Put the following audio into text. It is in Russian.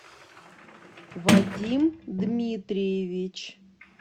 вадим дмитриевич